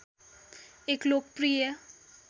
एक लोकप्रिय